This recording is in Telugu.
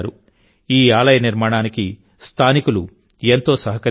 ఈ ఆలయ నిర్మాణానికి స్థానికులు ఎంతో సహకరించారు